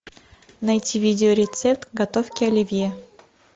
найти видеорецепт готовки оливье